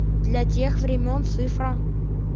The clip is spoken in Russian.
для тех времён цифра